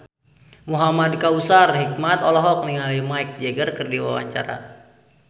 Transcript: Muhamad Kautsar Hikmat olohok ningali Mick Jagger keur diwawancara